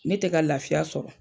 Ne tɛ ka lafiya sɔrɔ.